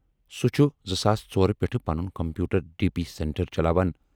سُہ چھُ ۴۰۰۲ ٕ پٮ۪ٹھٕ پَنُن کمپیوٗٹر ڈی۔ پی سینٹر چلاوان۔